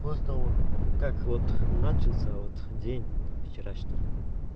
после того как вот начался вот день вчерашний